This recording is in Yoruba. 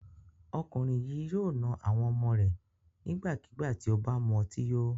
Ọkùnrin yìí yóò na àwọn ọmọ rẹ̀ nígbàkigbà tí ó bá mu ọtí yó.